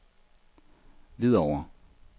Hvidovre